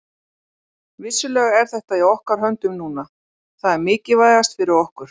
Vissulega er þetta í okkar höndum núna, það er mikilvægast fyrir okkur.